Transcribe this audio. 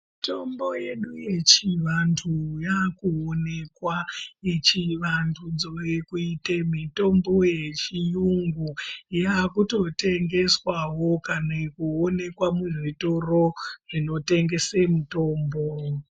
Mitombo yedu yechi vantu yaku onekwa yechi vandudzwe kuite mitombo ye chiyungu yakuto tengeswawo kana kuonekwa mu zvitoro zvino tengese mutombo.